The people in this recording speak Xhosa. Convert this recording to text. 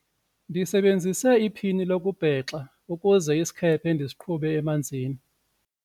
ndisebenzise iphini lokubhexa ukuze isikhephe ndisiqhube emanzini